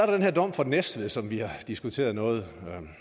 den her dom fra næstved som vi har diskuteret noget